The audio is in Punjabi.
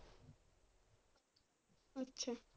ਅੱਛਾ।